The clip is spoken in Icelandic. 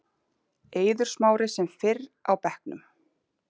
Eiður Smári sem fyrr á bekknum